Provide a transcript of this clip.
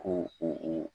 Ko u